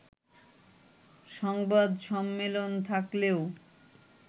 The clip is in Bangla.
সংবাদ সম্মেলন থাকলেও